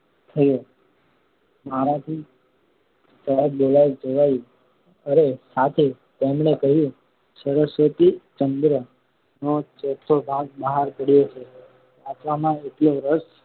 થયો. મારાથી સહજ બોલાઈ જવાયું, અરે શાથી તેમણે કહ્યું સરસ્વતીચંદ્ર નો ચોથો ભાગ બહાર પડયો છે. વાંચવામાં એટલો રસ